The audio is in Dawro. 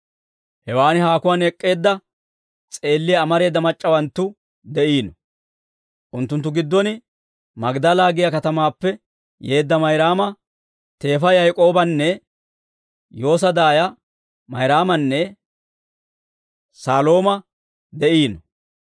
Hewaan haakuwaan ek'k'iide s'eelliyaa amareeda mac'c'awanttu de'iino; unttunttu giddon Magdala giyaa katamaappe yeedda Mayraama, teefa Yaak'oobanne Yoosa daaya Mayraamanne Salooma de'iino.